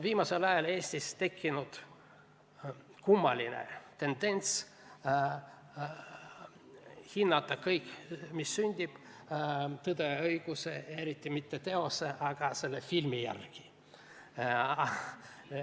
Viimasel ajal on Eestis tekkinud kummaline tendents hinnata kõike, mis sünnib, "Tõe ja õiguse" järgi, ja eriti mitte teose, vaid selle filmi järgi.